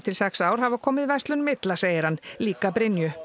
sex ár hafa komið verslunum illa segir hann líka Brynju